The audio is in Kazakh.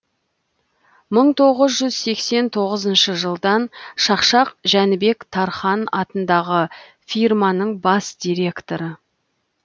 мың тоғыз жүз сексен тоғызыншы жылдан шақшақ жәнібек тархан атындағы фирманың бас директоры